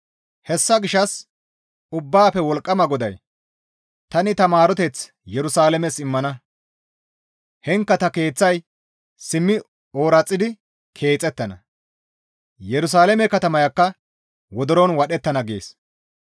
«Hessa gishshas Ubbaafe Wolqqama GODAY, ‹Tani ta maaroteth Yerusalaames immana; heenkka ta keeththay simmi ooraxidi keexettana; Yerusalaame katamayakka wodoron wadhettana› gees.